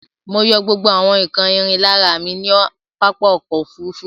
Mọ yọ gbógbó àwon nkán ìrìn l'ára mí ní pápá ọkọ̀ òfurufú.